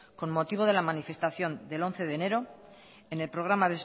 con motivo de la manifestación del once de enero en el programa